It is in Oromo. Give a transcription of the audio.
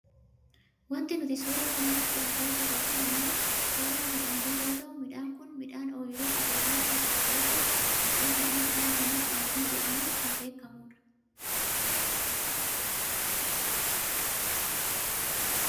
Wanti nuti suuraa kanarratti argaa jirru kun ammoo suuraa midhaanii yoo ta'u midhaan kun midhaan ooyiruu qote bulaarra jiru yoo ta'u maqaan midhaan kanaa ammoo qamadii jedhamuun kan beekkamu dha.